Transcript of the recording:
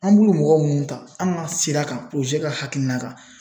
An b'u mɔgɔ minnu ta an ka sira kan ka hakilina kan